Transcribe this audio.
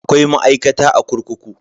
Akwai ma'aikata a kurkuku.